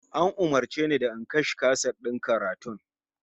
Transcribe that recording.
An umurce ni da in kashe kaset din karatun?